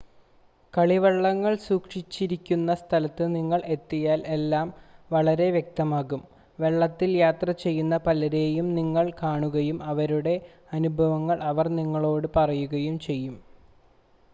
കളിവള്ളങ്ങൾ സൂക്ഷിച്ചിരിക്കുന്ന സ്ഥലത്ത് നിങ്ങൾ എത്തിയാൽ എല്ലാം വളരെ വ്യക്തമാകും വള്ളത്തിൽ യാത്ര ചെയ്യുന്ന പലരെയും നിങ്ങൾ കാണുകയും അവരുടെ അനുഭവങ്ങൾ അവർ നിങ്ങളോട് പറയുകയും ചെയ്യും